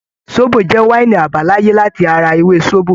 Sóbò jẹ́ wáínì àbáláyé láti ara ewé sóbò.